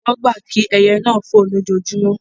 Wọ́n gbà kí ẹyẹ náà fò lójojúmọ̀